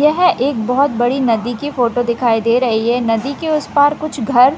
यह एक बहोत बड़ी नदी की फोटो दिखाई दे रही है नदी के उस पास कुछ घर